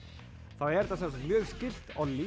þá er þetta mjög skylt